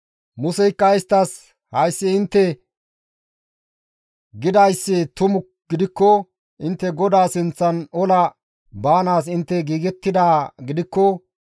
Museykka isttas, «Hayssi intte gidayssi tumu gidikko intte GODAA sinththan ola baanaas intte giigettidaa gidikko,